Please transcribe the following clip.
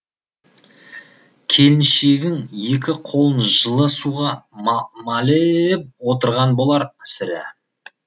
келіншегің екі қолын жылы суға мал е еп отырған болар сірә